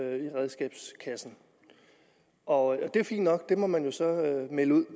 i redskabskassen og det er fint nok det må man jo så melde ud